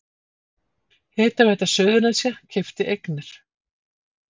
Hitaveita Suðurnesja keypti eignir